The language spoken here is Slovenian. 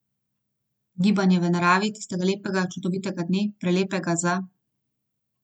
Gibanje v naravi tistega lepega, čudovitega dne, prelepega za ...